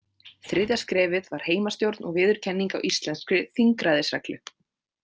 Þriðja skrefið var heimastjórn og viðurkenning á íslenskri þingræðisreglu.